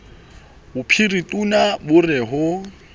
bophiritona ba re ho o